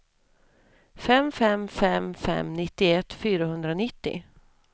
fem fem fem fem nittioett fyrahundranittio